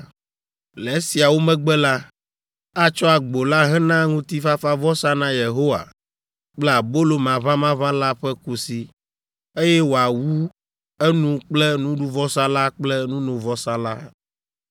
Le esiawo megbe la, atsɔ agbo la hena ŋutifafavɔsa na Yehowa kple abolo maʋamaʋã la ƒe kusi, eye wòawu enu kple nuɖuvɔsa la kple nunovɔsa la.